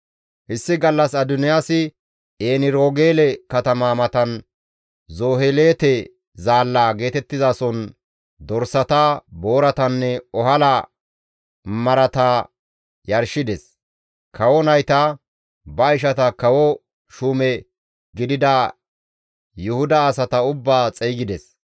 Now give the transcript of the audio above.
Issi gallas Adoniyaasi En-Roogeele katama matan Zoheleete Zaalla geetettizason dorsata, booratanne ohala marata yarshides. Kawo nayta, ba ishata kawo shuume gidida Yuhuda asata ubbaa xeygides.